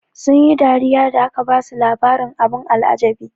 Sun yi dariya da aka basu labarin abin al'ajabi.